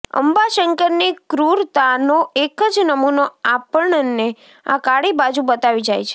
અંબાશંકરની ક્રૂરતાનો એક જ નમૂનો આપણને આ કાળી બાજુ બતાવી જાય છે